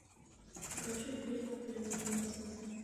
покажи фильм в плену у космоса